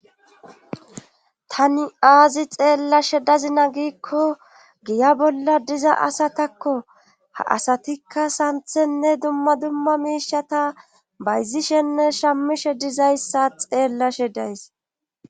tani aazi xeellashe dazina giikko giya bolla diza asatakko ha asatikka santhenne dumma dumma miishata bayzishenne shammishe dizayssa xeellashe days